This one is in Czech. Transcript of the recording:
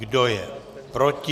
Kdo je proti?